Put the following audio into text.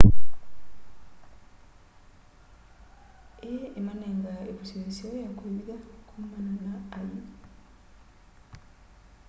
ii imanengaa ivuso iseo yakwivitha kumana na ay'i